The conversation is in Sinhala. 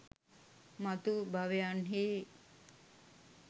මතු භවයන්හි